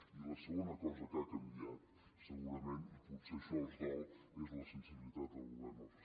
i la segona cosa que ha canviat segurament i potser això els dol és la sensibilitat del govern al respecte